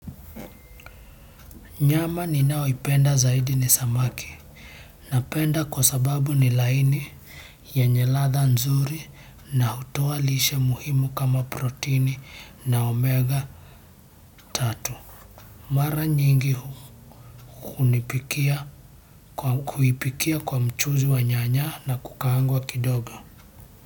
Nyama ninayoipenda zaidi ni samaki. Napenda kwa sababu ni laini, yenye ladha nzuri na hutoa lishe muhimu kama proteini na omega three. Mara nyingi huipikia kwa mchuzi wa nyanya na kukaangwa kidogo.